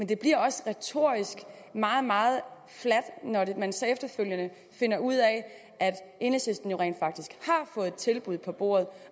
det bliver også retorisk meget meget fladt når man så efterfølgende finder ud af at enhedslisten jo rent faktisk har fået et tilbud på bordet